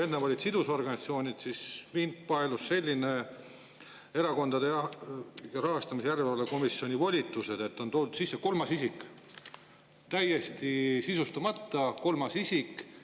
Enne oli siin sidusorganisatsioonide, mind paelus "Erakondade Rahastamise Järelevalve Komisjoni volitused", kus on toodud sisse "kolmas isik", täiesti sisustamata "kolmas isik".